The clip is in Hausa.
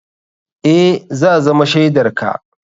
Eh, za zama shaidar ka.